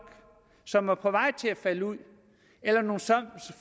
som var på vej til at falde ud eller nogle